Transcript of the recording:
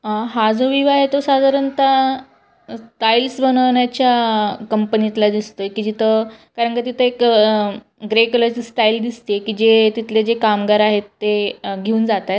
आ हा जो व्ह्यू आहे तो साधारणतः टाइल्स बनावण्याच्या कंपनीतला दिसतोय की जिथ कारण का तिथ एक ग्रे कलर ची स्टाइल दिसते की जे तिथले जे कामगार आहेत ते घेऊन जात आहेत.